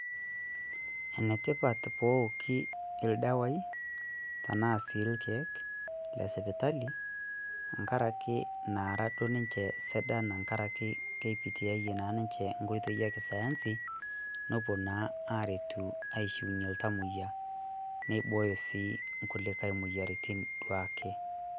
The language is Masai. ene tipat pooki sii ildawai aashu ilkeek lesipitali angaraki aaranaduoo ninye sidan aashu kepitiyayiee naa niche nkoitoi esayansi nepuoo naa aretu aishiunyiee iltamoyia neibooyo sii nkulikae moyiaritin duake